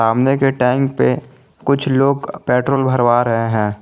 सामने के टैंक पे कुछ लोग पेट्रोल भरवा रहे हैं।